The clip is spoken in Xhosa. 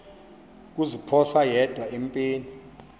kuziphosa yedwa empini